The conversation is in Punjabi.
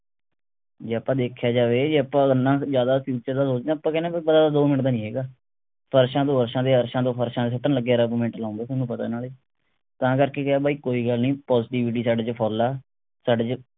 ਜੇ ਆਪਾਂ ਦੇਖਿਆ ਜਾਵੇ ਜੇ ਆਪਾਂ ਇੰਨਾ ਜਿਆਦਾ ਕਿਸੇ ਦਾ ਸੋਚਣਾ ਆਪਾਂ ਤਾਂ ਕਹਿਣੇ ਆ ਵੀ ਪਤਾ ਤਾਂ ਦੋ ਮਿੰਟ ਦਾ ਨਹੀਂ ਹੈਗਾ ਫਰਸ਼ਾਂ ਤੋਂ ਅਰਸ਼ਾਂ ਤੇ ਅਰਸ਼ਾਂ ਤੋਂ ਫਰਸ਼ਾਂ ਤੇ ਸਿੱਟਣ ਲਗਿਆ ਰੱਬ ਮਿੰਟ ਲਾਉਂਦੇ ਥੋਨੂੰ ਪਤੇ ਨਾਲੇ ਤਾਂ ਕਰਕੇ ਕਿਹੇ ਬਾਈ ਕੋਈ ਗੱਲ ਨਹੀਂ positivity ਸਾਡੇ ਚ full ਆ ਸਾਡੇ ਚ